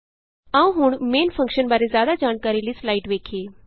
ਆਉ ਹੁਣ main function ਬਾਰੇ ਜਿਆਦਾ ਜਾਣਕਾਰੀ ਲਈ ਸਲਾਈਡ ਵੇਖੀਏ